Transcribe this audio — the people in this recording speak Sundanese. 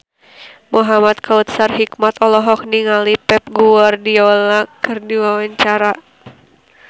Muhamad Kautsar Hikmat olohok ningali Pep Guardiola keur diwawancara